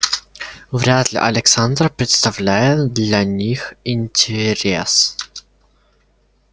вряд-ли александр представляет для них интерес